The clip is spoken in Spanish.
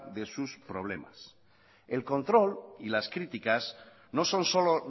de sus problemas el control y las críticas no son solo